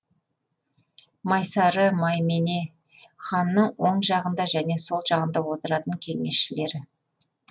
майсары маймене ханның оң жағында және сол жағында отыратын кеңесшілері